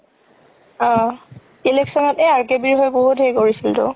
অ election RKB ৰ হৈ বহুত হেৰি কৰিছিলতো